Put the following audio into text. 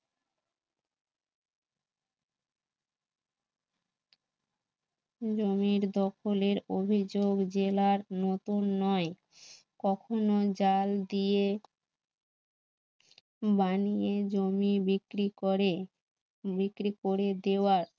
জমির দখলের অভিযোগ জেলার নতুন নয় কখনো জাল দিয়ে বানিয়ে জমি বিক্রি করে বিক্রি করে দেওয়ার